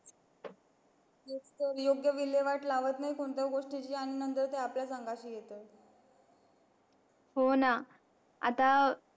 योग्य विल्यवाट लावत नाही कोणत्या गोष्टीची मग आपल्याच अंगाशी येते हो ना आता